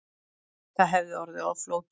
Það hefði orðið of flókið